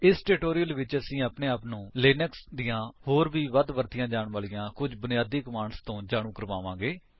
ਇਸ ਟਿਊਟੋਰਿਅਲ ਵਿੱਚ ਅਸੀਂ ਆਪਣੇ ਆਪ ਨੂੰ ਲਿਨਕਸ ਦੀਆਂ ਹੋਰ ਵੀ ਵੱਧ ਵਰਤੀਆਂ ਜਾਂਦੀਆਂ ਕੁਝ ਬੁਨਿਆਦੀ ਕਮਾਂਡਸ ਤੋਂ ਜਾਣੂ ਕਰਾਵਾਂਗੇ